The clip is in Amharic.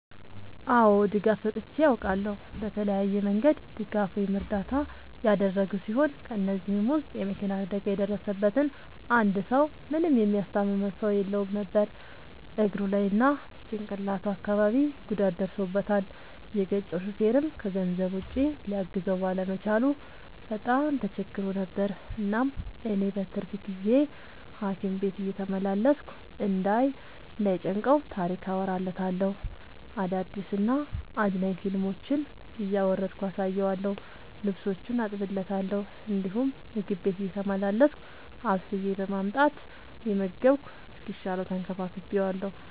አዎ ድጋፍ ሰጥቼ አውቃለሁ። በተለያየ መንገድ ድጋፍ ወይም እርዳታ ያደረግሁ ሲሆን ከ እነዚህም ውስጥ የ መኪና አደጋ የደረሠበትን አንድ ሰው ምንም የሚያስታምመው ሰው የለውም ነበር እግሩ ላይ እና ጭቅላቱ አካባቢ ጉዳት ደርሶበታል። የገጨው ሹፌርም ከገንዘብ ውጪ ሊያግዘው ባለመቻሉ በጣም ተቸግሮ ነበር። እናም እኔ በትርፍ ጊዜዬ ሀኪም ቤት እየተመላለስኩ እንዳይ ጨንቀው ታሪክ አወራለታለሁ፤ አዳዲስ እና አዝናኝ ፊልሞችን እያወረድኩ አሳየዋለሁ። ልብሶቹን አጥብለታለሁ እንዲሁም ምግብ ቤቴ እየተመላለስኩ አብስዬ በማምጣት እየመገብኩ እስኪሻለው ተንከባክቤዋለሁ።